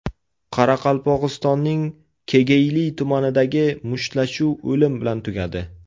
Qoraqalpog‘istonning Kegeyli tumanidagi mushtlashuv o‘lim bilan tugadi.